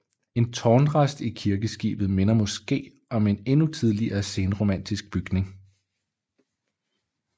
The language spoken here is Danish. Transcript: En tårnrest i kirkeskibet minder måske om en endnu tidligere senromansk bygning